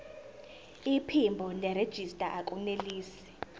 iphimbo nerejista akunelisi